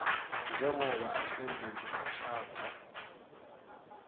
njengobe ahleliwe kushatha